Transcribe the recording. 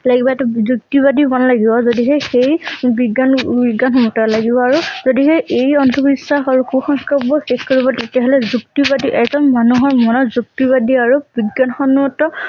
লাগিব টো যুক্তিবাদী বন লাগিব যদিহে সেই বিজ্ঞানবিজ্ঞান লাগিব আৰু যদিহে এই অন্ধ বিশ্বাস আৰু কুসংস্কাৰ বোৰ শেষ কৰিব তেতিয়া হলে যুক্তিবাদী এজন মানুহৰ মনত যুক্তিবাদী আৰু বিজ্ঞানসন্মত